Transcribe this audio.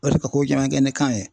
Ka se ka ko caman kɛ ni kan ye